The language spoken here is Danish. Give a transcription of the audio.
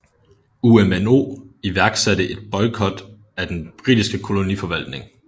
UMNO iværksatte en boikott af den britiske koloniforvaltning